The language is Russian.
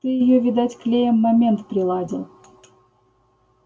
ты её видать клеем момент приладил